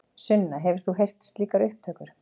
Sunna: Hefur þú heyrt slíkar upptökur?